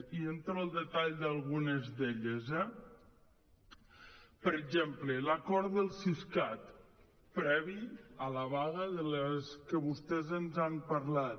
i entro al detall d’algunes d’elles eh per exemple l’acord del siscat previ a la vaga de la que vostè ens ha parlat